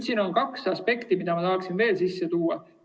Siin on kaks aspekti, mida ma tahaksin veel sisse tuua.